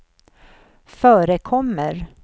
förekommer